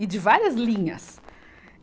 E de várias linhas.